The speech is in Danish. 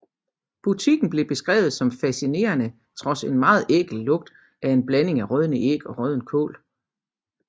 Butikken bliver beskrevet som fascinerende trods en meget ækel lugt af en blanding af rådne æg og rådden kål